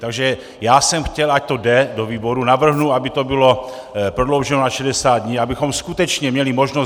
Takže já jsem chtěl, ať to jde do výboru, navrhnu, aby to bylo prodlouženo na 60 dní, abychom skutečně měli možnost...